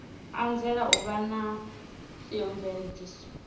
anzela u vha na theomveledziso